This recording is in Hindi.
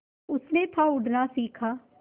उसने था उड़ना सिखा